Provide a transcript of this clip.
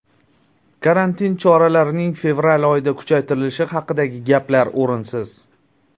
Karantin choralarining fevral oyida kuchaytirilishi haqidagi gaplar o‘rinsiz.